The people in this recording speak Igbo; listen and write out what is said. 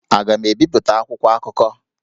Aga m ebipụta akwụkwọ akụkọ?